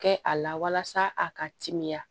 Kɛ a la walasa a ka timiya